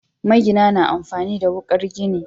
Magina na amfani da wuƙar gini.